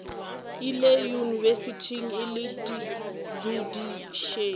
ile yunibesithing e le dudišitše